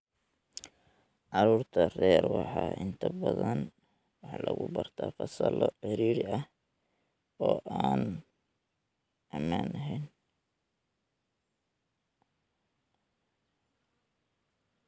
Caruurta rer waxaa inta badan wax lagu bartaa fasallo ciriiri ah oo aan ammaan ahayn.